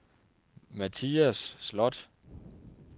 Mathias Sloth